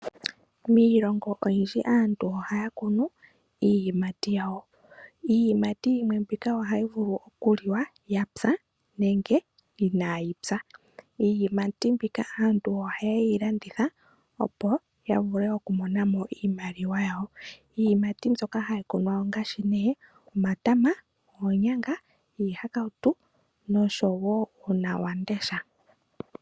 Miilongo oyindji aantu ohaya kunu iiyimati yawo. Iiyimati yimwe mbika ohayi vulu oku liwa yapya nenge inaayi pya. Iiyimati mbika aantu oha ye yi landitha opo ya vule oku mona mo iimaliwa ya wo. Iiyimati mbyoka hayi kunwa ongaashi nee: omatama, oonyanga, iihakautu nosho woo uuna wa mudesha.